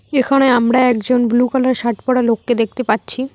এখানে আমরা একজন ব্লু কালারের শার্ট পরা লোককে দেখতে পাচ্ছি।